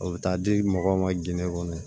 O bɛ taa di mɔgɔw ma ginde kɔnɔ